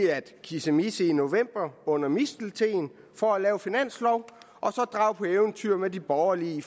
at kissemisse i november under misteltenen for at lave finanslov og så drage på eventyr med de borgerlige i